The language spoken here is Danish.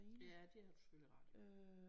Ja det har du selvfølgelig ret i